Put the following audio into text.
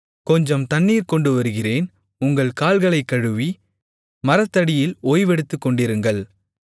கொஞ்சம் தண்ணீர் கொண்டுவருகிறேன் உங்கள் கால்களைக் கழுவி மரத்தடியில் ஓய்வெடுத்துக்கொண்டிருங்கள்